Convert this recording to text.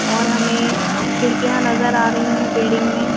और हमें खिड़कियाँ नज़र आरी हैं बिल्डिंग में--